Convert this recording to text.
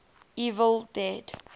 evil dead